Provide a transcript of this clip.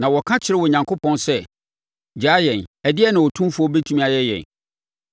Na wɔka kyerɛɛ Onyankopɔn sɛ, ‘Gyaa yɛn! Ɛdeɛn na Otumfoɔ bɛtumi ayɛ yɛn?’